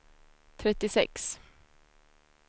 trettiosex